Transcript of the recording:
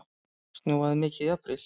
Snjóaði mikið í apríl?